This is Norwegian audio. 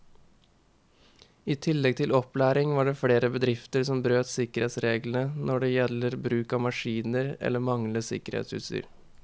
I tillegg til opplæring var det flere bedrifter som brøt sikkerhetsreglene når det gjelder bruk av maskiner eller manglende sikkerhetsutstyr.